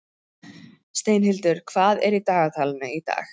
Steinhildur, hvað er í dagatalinu í dag?